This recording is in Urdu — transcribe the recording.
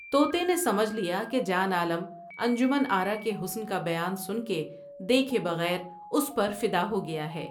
توتے نے سمجھ لیا کہ جان عالم انجمن آرا کے حسن کا بیان سن کے دیکھے بغیر اس پر فدا ہو گیا ہے ۔